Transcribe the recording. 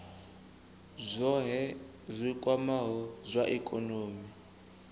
zwohe zwi kwamaho zwa ikonomi